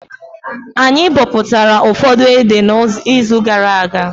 Anyị bọpụtara ụfọdụ ede na izu gara aga